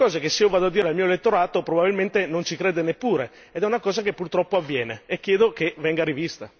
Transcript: Sono cose che se io vado a dire al mio elettorato, probabilmente non ci crede neppure, ed è una cosa che purtroppo avviene e chiedo che venga rivista.